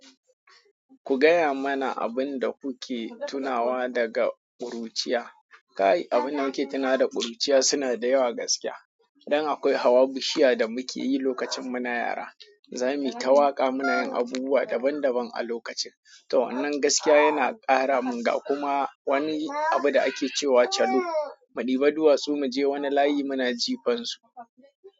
Ku gaya mana abin da kuke tunawa daga ƙuruciya. Kai, abin da muke tuna wa da ƙuruciya suna da yawa gaskiya. Dan akwai hawa bishiya da muke yi lokacin da muke yara Zami ta waƙa munayin abubuwa daban daban a lokacin. To wannan gaskiya yana kara mun ga kuma wani abu da ake cewa calo. Mu ɗiba duwatsu muje wani layi muna jifan su.